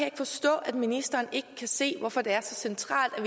ikke forstå at ministeren ikke kan se hvorfor det er så centralt at